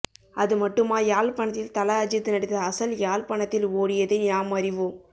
அது மட்டுமா யாழ்பணத்தில் தல அஜித் நடித்த அசல் யாழ்பணத்தில் ஓடியதை யாம் அறிவோம்